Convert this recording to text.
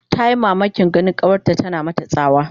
Tayi mamakin ganin kawarta tana mata tsawa